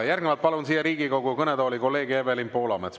Järgnevalt palun siia Riigikogu kõnetooli, kolleeg Evelin Poolamets.